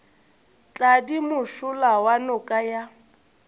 tladi mošola wa noka ya